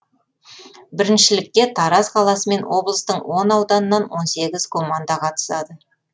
біріншілікке тараз қаласы мен облыстың он ауданынан он сегіз команда қатысады